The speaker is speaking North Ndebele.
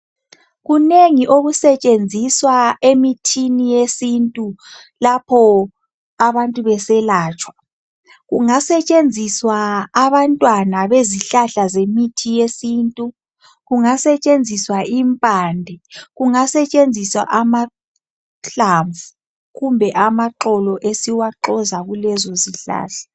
Kunengi okusetshenziswa emithini yesintu lapho abantu beselatshwa kungasetshenziswa abantwana bezihlahla zemithi yesintu, kungasetshenziswa impande, kungasetshenziswa amahlamvu kumbe amaxolo esiwaxoza kulezo zihlahla.